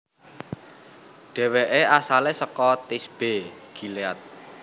Dhèwèké asalé saka Tisbe Gilead